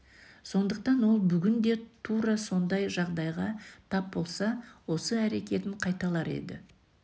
сондықтан ол бүгін де тура сондай жағдайға тап болса осы әрекетін қайталар еді